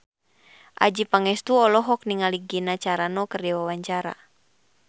Adjie Pangestu olohok ningali Gina Carano keur diwawancara